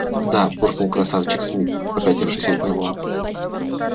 да буркнул красавчик смит попятившись от него